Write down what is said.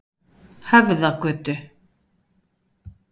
Höfðagötu